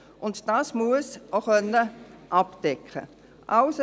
Diese muss abgedeckt werden können.